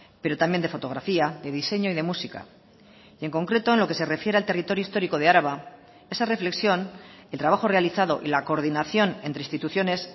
pero también de fotografía de diseño y de música y en concreto en lo que se refiere al territorio histórico de araba esa reflexión el trabajo realizado y la coordinación entre instituciones